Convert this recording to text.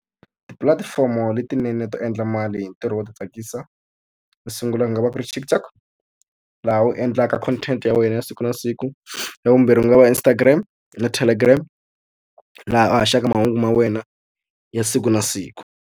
Tipulatifomo letinene to endla mali hi ntirho wo ti tsakisa to sungula ku nga va ku ri TikTok, laha wu endlaka content ya wena ya siku na siku. Ya vumbirhi ku nga va Instagram na Telegram, laha a haxaka mahungu ma wena ya siku na siku.